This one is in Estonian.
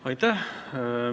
Aitäh!